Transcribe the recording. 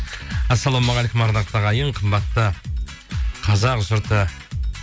ассалаумағалекум ардақты ағайын қымбатты қазақ жұрты